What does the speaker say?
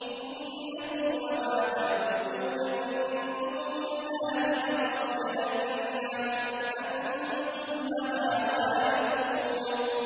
إِنَّكُمْ وَمَا تَعْبُدُونَ مِن دُونِ اللَّهِ حَصَبُ جَهَنَّمَ أَنتُمْ لَهَا وَارِدُونَ